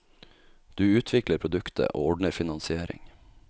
Du utvikler produktet, og ordner finansiering.